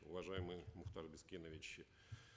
уважаемый мухтар бескенович